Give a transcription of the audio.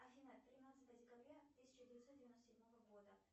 афина тринадцатое декабря тысяча девятьсот девяносто седьмого года